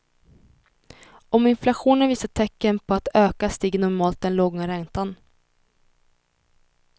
Om inflationen visar tecken på att öka stiger normalt den långa räntan.